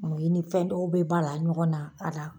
Mu i ni fɛn dɔw be bala ɲɔgɔn na a la